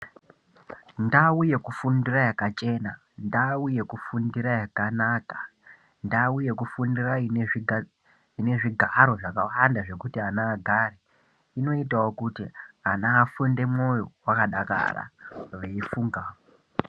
Ndau yekufundira yakachena, ndau yekufundira yakanaka, ndau yekufundira inezvigaro zvakawanda zvekuti ana agare, inoitawo kuti ana afunde moyo yakadakara echifunga.